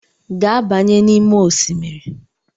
Gaa banye n'ime osimiri!